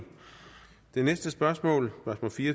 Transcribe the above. den